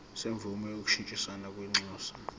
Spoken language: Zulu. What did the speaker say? semvume yokushintshisana kwinxusa